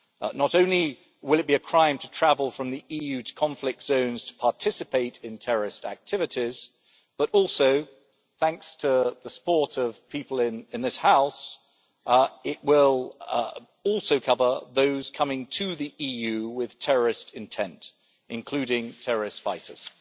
Not only will it be a crime to travel from the EU to conflict zones to participate in terrorist activities but also, thanks to the support of people in this House, it will cover those coming to the EU with terrorist intent, including terrorist fighters.